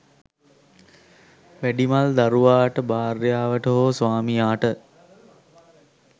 වැඩිමල් දරුවාට භාර්යාවට හෝ ස්වාමියාට